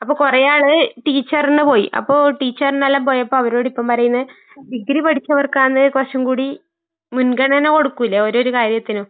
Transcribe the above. അപ്പൊ കൊറേ ആളുകൾ ടീച്ചർന് പോയി അപ്പൊ ടീച്ചർനെല്ലാം പോയപ്പോ അവരോടിപ്പം പറയുന്നെ ഡിഗ്രി പഠിച്ചവർക്കാണ് കൊറച്ചും കൂടി മുൻഗണന കൊടുക്കൂലെ ഓരോരോ കാര്യത്തിനും.